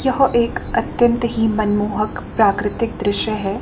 यह एक अत्यंत ही मनमोहक प्राकृतिक दृश्य हैं।